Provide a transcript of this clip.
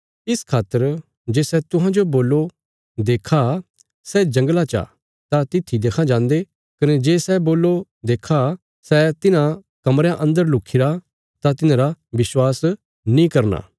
इस खातर जे सै तुहांजो बोल्लो देक्खा सै जंगला चा तां तित्थी देक्खां जान्दे कने जे सै बोल्लो देक्खा सै तिन्हां कमरयां अन्दर लुखिरा तां तिन्हांरा विश्वास नीं करना